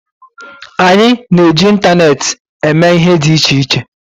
Anyị na-eji ịntaneetị eme ihe dị iche iche